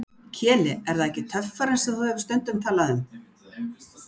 Keli, er það ekki töffarinn sem þú hefur stundum talað um?